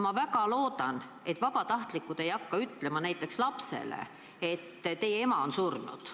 Ma väga loodan, et vabatahtlikud ei hakka ütlema näiteks lapsele, et tema ema on surnud.